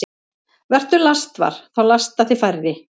Vertu lastvar – þá lasta þig færri.